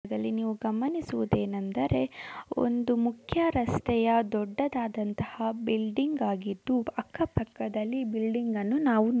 ದಲ್ಲಿ ನೀವು ಗಮನಿಸುವುದೇನೆಂದರೆ ಒಂದು ಮುಖ್ಯ ರಸ್ತೆಯ ದೊಡ್ಡದಾದಂತಹ ಬಿಲ್ಡಿಂಗ್ ಆಗಿದ್ದು ಅಕ್ಕ-ಪಕ್ಕದಲ್ಲಿ ಬಿಲ್ಡಿಂಗ್ಗಳನ್ನು ನಾವು --